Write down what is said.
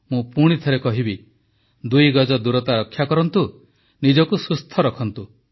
ମୁଁ ପୁଣି ଥରେ କହିବି ଦୁଇ ଗଜ ଦୂରତା ରକ୍ଷା କରନ୍ତୁ ନିଜକୁ ସୁସ୍ଥ ରଖନ୍ତୁ